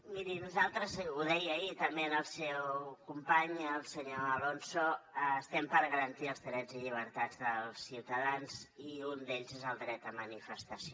miri nosaltres ho deia ahir també al seu company al senyor alonso estem per garantir els drets i llibertats dels ciutadans i un d’ells és el dret de manifestació